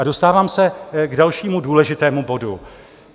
A dostávám se k dalšímu důležitému bodu.